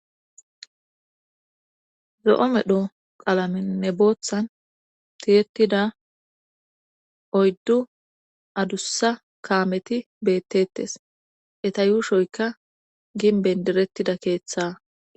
zo7o medho qalaminne booththan tiyettida oyddu adussa kaameti beettettes eta yuushoyka ginben derettida keeththa